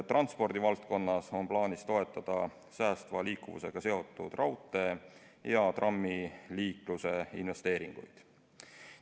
Transpordivaldkonnas on plaanis toetada säästva liikuvusega seotud raudtee- ja trammiliikluse investeeringuid.